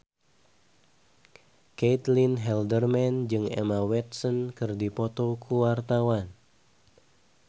Caitlin Halderman jeung Emma Watson keur dipoto ku wartawan